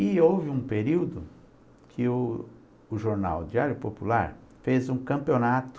E houve um período que o o jornal Diário Popular fez um campeonato